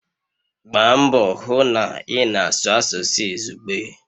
Gbaa mbọ hụ na ị na-asụ asụsụ izugbe!